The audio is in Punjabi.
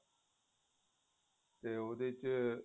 ਤੇ ਉਹਦੇ ਚ